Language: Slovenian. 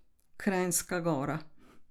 Kranjska Gora.